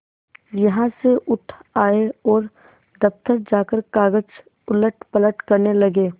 यहाँ से उठ आये और दफ्तर जाकर कागज उलटपलट करने लगे